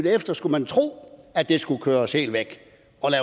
efter skulle man tro at det skulle køres helt væk